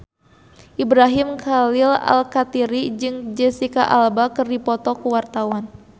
Ibrahim Khalil Alkatiri jeung Jesicca Alba keur dipoto ku wartawan